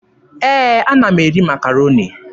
Ee, ana m eri Makaroni.